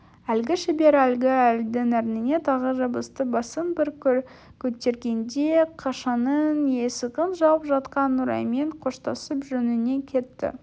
әлгі шебер әлгі әйелдің ерніне тағы жабысты басын бір көтергенде қашаның есігін жауып жатқан нұраймен қоштасып жөніне кетті